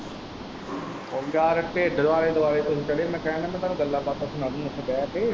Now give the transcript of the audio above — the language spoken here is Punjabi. ਓ ਯਾਰ ਡਿੱਢ ਦੇ ਆਲ਼ੇ-ਦੁਆਲੇ ਤੁਹੀਂ ਚੜੇ ਮੈਂ ਕਹਿਣ ਦਿਆਂ ਮੈਂ ਤੁਹਾਨੂੰ ਗੱਲਾਬਾਤਾਂ ਸੁਣਾ ਦੂਗਾ ਉੱਥੇ ਬਹਿ ਕੇ।